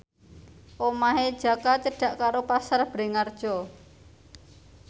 omahe Jaka cedhak karo Pasar Bringharjo